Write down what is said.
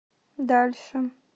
дальше